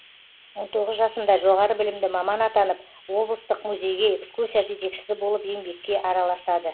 он тоғыз жасында жоғары білімді маман атанып облыстық музейге экскурсия жетекшісі болып еңбекке араласады